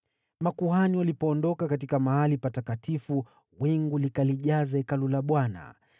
Makuhani walipoondoka katika Mahali Patakatifu, wingu likajaza Hekalu la Bwana .